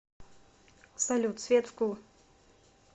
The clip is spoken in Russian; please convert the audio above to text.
салют свет вкл